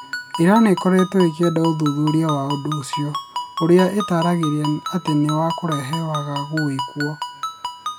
Iran ĩkoretwo ĩkĩenda ũthuthuria wa ũndũ ũcio, ũrĩa ĩtaragĩria atĩ nĩ wa kũrehe wagagu wĩkwo